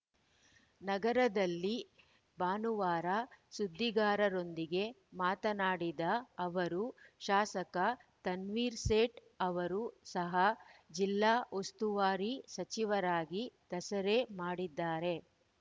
ನಗರಲ್ಲಿ ಭಾನುವಾರ ಸುದ್ದಿಗಾರರೊಂದಿಗೆ ಮಾತನಾಡಿದ ಅವರು ಶಾಸಕ ತನ್ವೀರ್‌ ಸೇಠ್‌ ಅವರು ಸಹ ಜಿಲ್ಲಾ ಉಸ್ತುವಾರಿ ಸಚಿವರಾಗಿ ದಸರೆ ಮಾಡಿದ್ದಾರೆ